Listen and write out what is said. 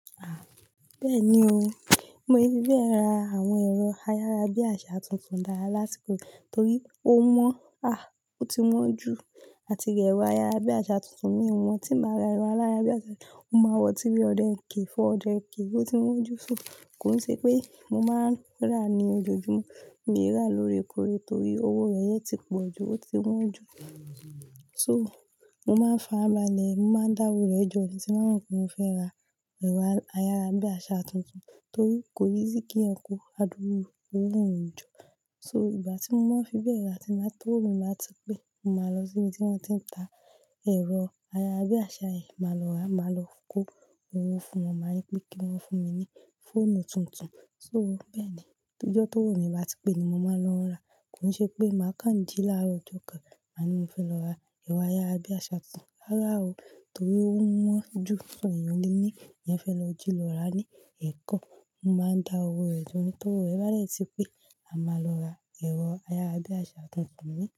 Bẹ́ẹ̀ni o, mi ò fi bẹ́ẹ̀ ra àwọn ẹ̀rọ ayárabiàsá tuntun dáadáa lásìkò, torí ó wọ́n, a, ó ti wọ́n jù àti ra ẹ̀rọ ayárabíàsá tuntun mì won tí bá màa ń ra ẹ̀rọ ayárabíasá tuntun, ó máa wọ̀ bí 300k 400k so ó ti wọ́n jù. Kò sí pé mo máa ń rà á ní ojoojúmọ́, mi ò rà lórekóre torí owó rẹ̀ yẹn ti pọ̀ jù, ó ti wọ́n jù. So, mo máa ń fa ara balẹ̀, mo máa ń dá owó rẹ̀ jọ, tí bá mo pé mo fẹ́ ra ẹ̀rọ ayárabíàsá tuntun torí kò easy kí èèyàn kó adúrú owó yẹn jọ. So, ìgbà tí mo máa ń fi bẹ́ẹ̀ ra, tí owó mi bá ti pé, mo máa lọ sí ibi tí wón ti ń ta ẹ̀rọ ayára bí àsá yẹn, màá lọ ra, màá lọ kó mawa fún wọn, màá ní pé kí wọn fún mi ní fóònù tuntun. So bẹ́ẹ̀ ni, tí ijọ́ tó òwo yẹn bá ti pé ni mo máa lọ ń ra. Kò n ṣe pé màá kánjú láàárọ̀ ọjọ́ kan, màá ní mo fẹ́ lọ ra ẹ̀rọ ayára bí àsá tuntun ràrá o torí ó wọ́n jù. Ìyẹn lòní mo fẹ́ lọ jí lọ ra ní Èkó, mo máa ń dá owó rẹ̀ jọ nítorí rẹ̀ bálẹ̀ ti pé, àmá lọ ra ẹ̀rọ ayára bí àsá tuntun ní.